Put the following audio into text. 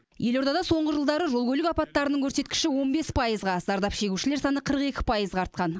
елордада соңғы жылдары жол көлік апаттарының көрсеткіші он бес пайызға зардап шегушілер саны қырық екі пайызға артқан